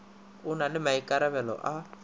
o na le maikarabelo a